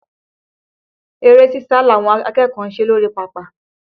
Eré sísa làwọn akẹ́kọ̀ọ́ ń ṣe lórí pápá